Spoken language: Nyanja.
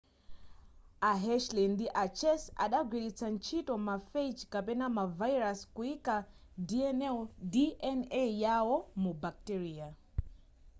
a hershey ndi a chase adagwilitsa ntchito ma phage kapena ma virus kuyika dna yawo mu bacteria